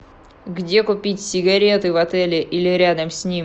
где купить сигареты в отеле или рядом с ним